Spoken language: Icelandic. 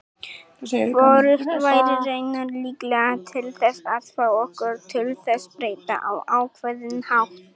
Hvorugt væri raunar líklega til þess að fá okkur til þess breyta á ákveðinn hátt.